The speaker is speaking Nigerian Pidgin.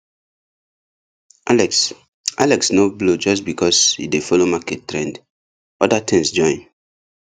alex alex no blow just because e dey follow market trend other things join